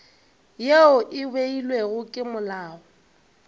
yeo e beilwego ke molao